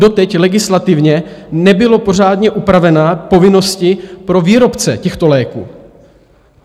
Doteď legislativně nebyly pořádně upraveny povinnosti pro výrobce těchto léků.